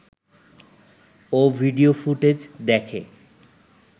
ও video footage দেখে